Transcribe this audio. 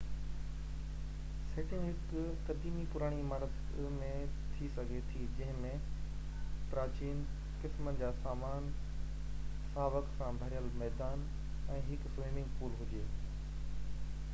setting هڪ قديمي پراڻي عمارت ۾ ٿي سگهي ٿي جنهن ۾ پراچين قسمن جو سامان ساوڪ سان ڀريل ميدان ۽ هڪ سوئمنگ پول هجي